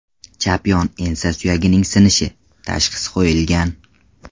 Chap yon ensa suyagining sinishi” tashxisi qo‘yilgan.